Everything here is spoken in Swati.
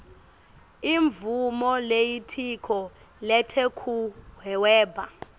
imvumo yelitiko letekuhweba